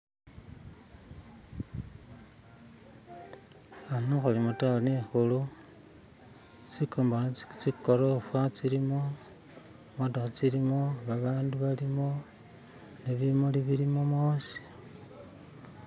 ano huli mutawuni ihulu tsikolofa tsilimo tsimotoha tsilimo babandu balimo nebimuli bilimo mwosi